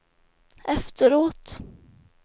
efteråt